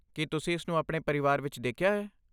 ਕੀ ਤੁਸੀਂ ਇਸ ਨੂੰ ਆਪਣੇ ਪਰਿਵਾਰ ਵਿੱਚ ਦੇਖਿਆ ਹੈ?